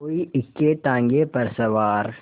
कोई इक्केताँगे पर सवार